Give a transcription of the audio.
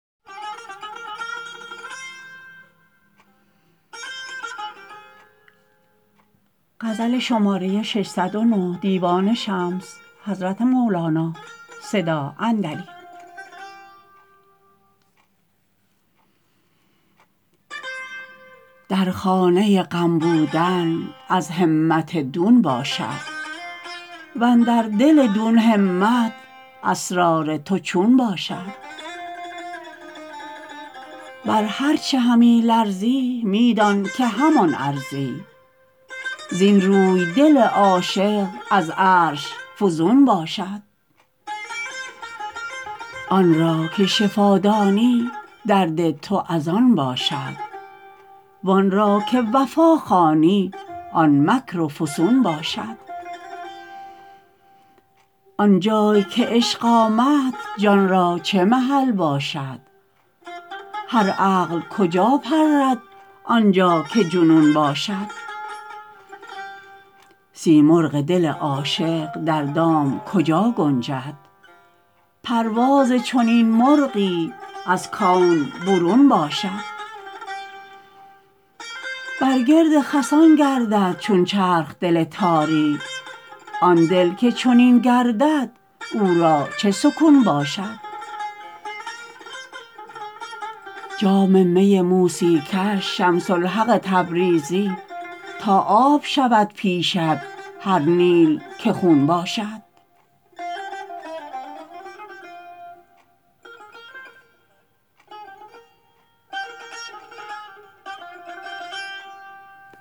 در خانه غم بودن از همت دون باشد و اندر دل دون همت اسرار تو چون باشد بر هر چه همی لرزی می دان که همان ارزی زین روی دل عاشق از عرش فزون باشد آن را که شفا دانی درد تو از آن باشد وان را که وفا خوانی آن مکر و فسون باشد آن جای که عشق آمد جان را چه محل باشد هر عقل کجا پرد آن جا که جنون باشد سیمرغ دل عاشق در دام کجا گنجد پرواز چنین مرغی از کون برون باشد بر گرد خسان گردد چون چرخ دل تاری آن دل که چنین گردد او را چه سکون باشد جام می موسی کش شمس الحق تبریزی تا آب شود پیشت هر نیل که خون باشد